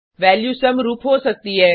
value समरुप हो सकती है